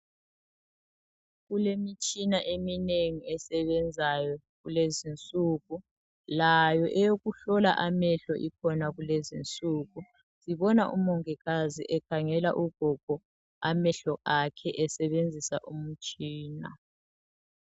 Kulemitshina eminengi esebenzayo kulezinsuku layo eyokuhlola amehlo ikhona kulezinsuku ngibona umongikazi ekhangela ugogo amehlo akhe esebenzisa umtshina.